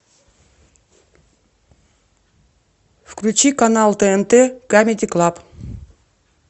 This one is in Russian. включи канал тнт камеди клаб